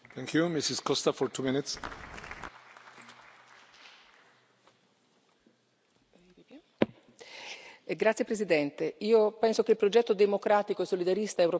Signor Presidente, onorevoli colleghi, penso che il progetto democratico e solidarista europeo non si potrà sviluppare se non sarà fondato sulla conoscenza e la coscienza della storia comune europea.